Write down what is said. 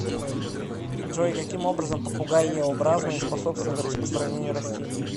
джой каким образом попугаеобразные способствуют распространению растений